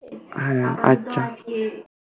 হ্যাঁ আচ্ছা